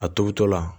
A tobitɔla